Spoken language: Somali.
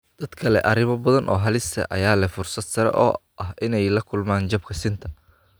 Dadka leh arrimo badan oo halis ah ayaa leh fursad sare oo ah inay la kulmaan jabka sinta.